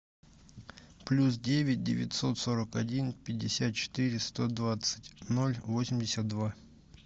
плюс девять девятьсот сорок один пятьдесят четыре сто двадцать ноль восемьдесят два